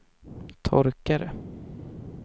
torkare